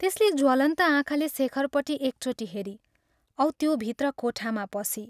त्यसले ज्वलन्त आँखाले शेखरपट्टि एकचोटि हेरी औ त्यो भित्र कोठामा पसी।